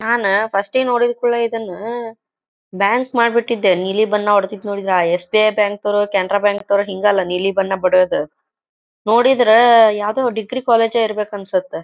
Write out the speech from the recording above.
ನಾನ first time ನೋಡಿದ್ ಕೂಡ್ಲೆ ಇದನ್ನ ಬ್ಯಾಂಕ್ ಮಾಡ್ಬಿಟ್ಟಿದ್ದೆ ನೀಲಿ ಬಣ್ಣ ಹೊಡೆದಿದ್ ನೋಡಿದ್ರ ಎಸ್ ಬಿ ಐ ಬ್ಯಾಂಕ್ ಅವ್ರು ಕೆನರಾ ಬ್ಯಾಂಕ್ ಅವ್ರು ಎಲ್ಲ ಹಿಂಗ ಅಲ್ಲ ನೀಲಿ ಬಣ್ಣ ಬಡಿಯೋದ . ನೋಡಿದ್ರ ಯಾವ್ದೋ ಡಿಗ್ರಿ ಕಾಲೇಜ ಇರಬೇಕ ಅನ್ಸತ್ತ.